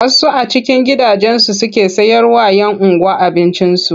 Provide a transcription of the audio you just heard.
Wasu a cikin gidajensu suke sayarwa 'yan unguwa abinci.